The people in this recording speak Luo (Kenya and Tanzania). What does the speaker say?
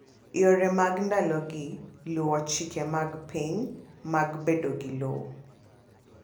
Yore mag ndalogi luwo chike mag piny mag bedo gi lowo.